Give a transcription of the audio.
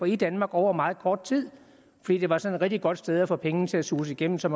i danmark over meget kort tid fordi det var sådan et rigtig godt sted at få pengene til at suse igennem så